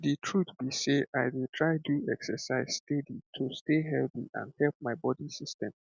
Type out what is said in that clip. the truth be sey i dey try do exercise steady to stay healthy and help my body system